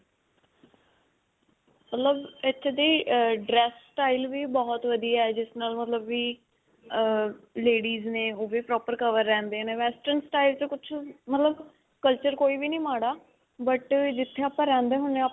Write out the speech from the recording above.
ਮਤਲਬ ਇਥੇ ਦੀ, ਅਅ dress style ਵੀ ਬਹੁਤ ਵਧੀਆ ਹੈ. ਜਿਸ ਨਾਲ ਮਤਲਬ ਵੀ ਅਅ ladies ਨੇ ਉਹ ਵੀ proper cover ਰਹਿੰਦੇ ਨੇ western style 'ਚ ਕੁਝ ਮਤਲਬ culture ਕੋਈ ਵੀ ਨਹੀਂ ਮਾੜਾ but ਜਿਥੇ ਆਪਾਂ ਰਹਿੰਦੇ ਹੁੰਦੇ.